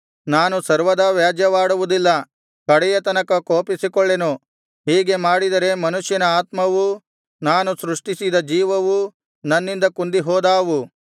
ನಾನು ಸರ್ವದಾ ವ್ಯಾಜ್ಯವಾಡುವುದಿಲ್ಲ ಕಡೆಯ ತನಕ ಕೋಪಿಸಿಕೊಳ್ಳೆನು ಹೀಗೆ ಮಾಡಿದರೆ ಮನುಷ್ಯನ ಆತ್ಮವೂ ನಾನು ಸೃಷ್ಟಿಸಿದ ಜೀವವೂ ನನ್ನಿಂದ ಕುಂದಿಹೋದಾವು